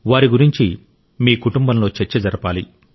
వారి గురించి మీ కుటుంబంలో చర్చ జరపాలి